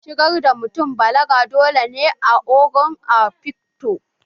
Shigar da mutun balaga dole ne a Ogo a afikfo